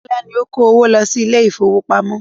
Bọ́lá ni ó ń kó owó lọ sí ilé ìfowópamọ́.